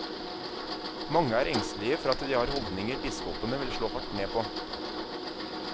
Mange er engstelige for at de har holdninger biskopene vil slå hardt ned på.